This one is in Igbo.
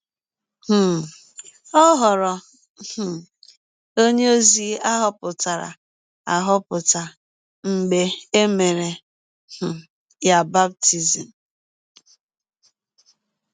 um Ọ ghọrọ um ọnye ozi a họpụtara ahọpụta mgbe e mere um ya baptism